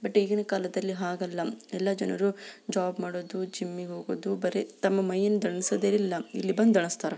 But ಈಗಿನ್ ಕಾಲದಲ್ಲಿ ಹಾಗಲ್ಲಂ ಎಲ್ಲ ಜನರು ಜಾಬ್ ಮಾಡದು ಜಿಮ್ಗೆ ಹೋಗದು ಬರೇ ತಮ್ಮ ಮೈಯನ್ನು ದಣ್ಸೊದೇ ಇಲ್ಲ ಇಲ್ಲಿ ಬಂದು ದಣಸ್ತಾರೆ.